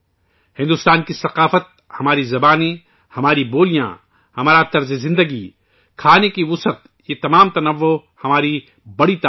بھارت کی ثقافت، ہماری زبانیں، ہماری بولیاں، ہمارا طرز زندگی، کھانے پینے کا تنوع ، یہ تمام تنوع ہماری بڑی طاقت ہیں